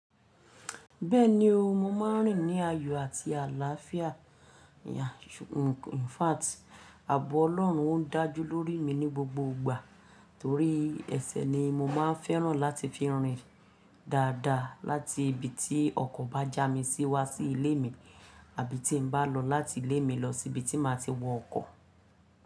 Bẹ́ẹ̀ni o, mo máa ń rìn ní ayọ̀ àti àlàáfíà, in fact, àbọ̀ Ọlọ́run o n dájú lórí mi ní gbogbo ìgbà torí ẹsẹ̀ ni mo máa ń fẹ́ràn láti fi rìn dáadáa láti ibi tí ọkọ̀ bá já mi sí wá sí ilé mi, àbí tí n bá lọ láti ilé mi lọ sí ibi tí má ti wọ ọkọ̀.